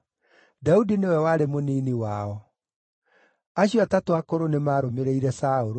Daudi nĩwe warĩ mũnini wao. Acio atatũ akũrũ nĩmarũmĩrĩire Saũlũ,